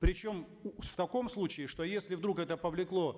причем в таком случае что если вдруг это повлекло